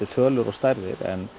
tölur og stærðir en